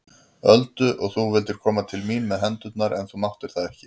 Öldu og þú vildir koma til mín með hendurnar en þú máttir það ekki.